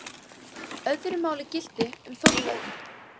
Öðru máli gilti um Þórberg.